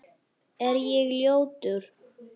Er ég ljótur?